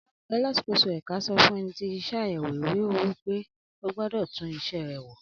Alákòóso ẹ̀ka sọ fún ẹni tí ń ṣe àyèwò ìwé-owó pé ógbọ́dọ̀ tún isẹ́ rè wò.